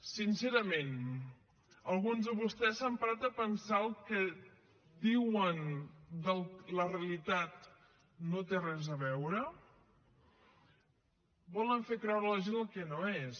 sincerament alguns de vostès s’han parat a pensar el que diuen de la realitat no hi té res a veure volen fer creure a la gent el que no és